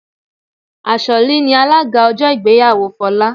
Asholly ni alága ọjọ́ ìgbéyàwó Folá